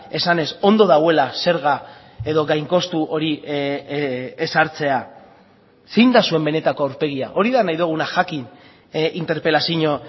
esanez ondo dagoela zerga edo gain kostu hori ezartzea zein da zuen benetako aurpegia hori da nahi duguna jakin interpelazio